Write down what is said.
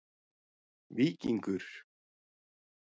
Víkingur